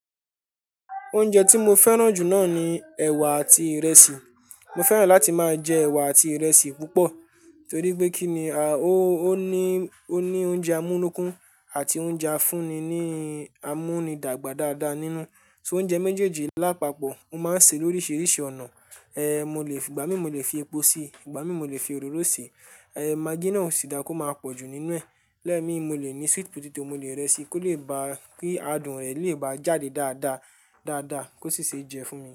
Oúnjẹ tí mo fẹ́ràn jù náà ni ẹ̀wà àti ìrẹsì. Mo fẹ́ràn láti máa jẹ ẹ̀wà àti ìrẹsì púpọ̀ torí pé kí ni, a, ó ní, ó ní oúnjẹ amúnókún àti oúnjẹ afúnni ní, a mú ni dàgbà dáadáa nínú. So oúnjẹ méjèèjì lápapọ̀, mo máa ń sè lóriṣiríṣi ọ̀nà. Eh, mo lè, ìgbà mí mo lè fi epo sí, ìgbà mí mo lè fi òróró sí. Eh, maggi náà ó sì dá ko máa pọ̀jù nínú ẹ̀. Lẹ́ẹ̀mi mo lè ní sweet potato, mo lè rẹ sì kó lè bá kí adùn rẹ̀ lè bá jáde dáadáa, dáadáa kó sì ṣe jẹ fún mi.